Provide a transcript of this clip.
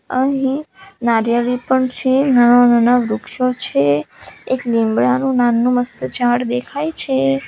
અહીં નારિયેરી પણ છે નાના નાના વૃક્ષો છે એક લીમડાનું નાનું મસ્ત ઝાડ દેખાય છે.